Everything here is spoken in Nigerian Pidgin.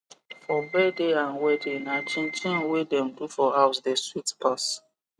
for birthday and wedding na chinchin wey dem do for house de sweet pass